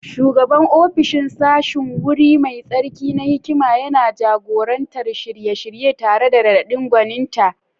Shugaban ofishin sashen, wuri mai tsarki na hikima, yana jagorantar shirye-shirye tare da raɗaɗin gwaninta.